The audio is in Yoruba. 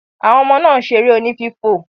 Àwọn ọmọ náà ń ṣeré oní fífò.